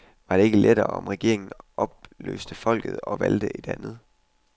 Var det da ikke lettere, om regeringen opløste folket og valgte et andet.